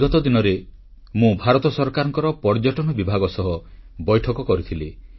ବିଗତ ଦିନରେ ମୁଁ ଭାରତ ସରକାରଙ୍କ ପର୍ଯ୍ୟଟନ ବିଭାଗ ସହ ବୈଠକ କରିଥିଲି